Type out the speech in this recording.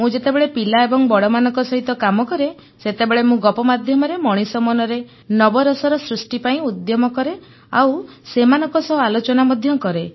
ମୁଁ ଯେତେବେଳେ ପିଲା ଏବଂ ବଡ଼ମାନଙ୍କ ସହିତ କାମ କରେ ସେତେବେଳେ ମୁଁ ଗପ ମାଧ୍ୟମରେ ମଣିଷ ମନରେ ନବରସର ସୃଷ୍ଟି ପାଇଁ ଉଦ୍ୟମ କରେ ଆଉ ସେମାନଙ୍କ ସହ ଆଲୋଚନା ମଧ୍ୟ କରେ